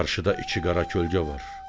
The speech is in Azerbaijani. Qarşıda iki qara kölgə var.